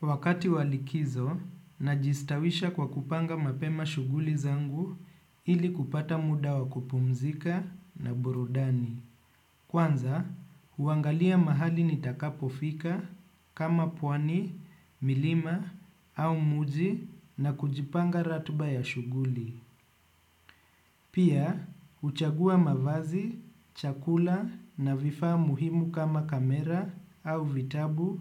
Wakati wa likizo, najistawisha kwa kupanga mapema shughuli zangu ili kupata muda wa kupumzika na burudani. Kwanza, huangalia mahali nitakapofika kama pwani, milima au mji na kujipanga ratiba ya shughuli. Pia, huchagua mavazi, chakula na vifaa muhimu kama kamera au vitabu